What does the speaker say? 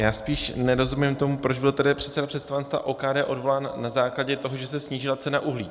Já spíš nerozumím tomu, proč byl tedy předseda představenstva OKD odvolán na základě toho, že se snížila cena uhlí.